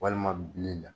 Walima bile la